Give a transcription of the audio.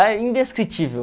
É indescritível.